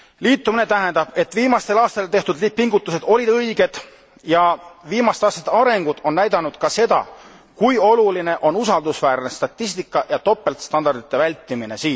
Liitumine tähendab, et viimastel aastatel tehtud pingutused olid õiged, ja viimaste aastate arengud on näidanud ka seda, kui oluline on usaldusväärne statistika ja topeltstandardite vältimine.